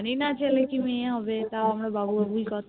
জানিনা ছেলে কি মেয়ে হবে তাও আমরা বাবু বাবুই করতাম